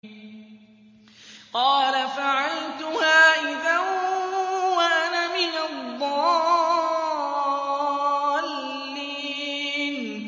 قَالَ فَعَلْتُهَا إِذًا وَأَنَا مِنَ الضَّالِّينَ